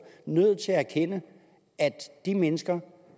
nødt til at erkende at de mennesker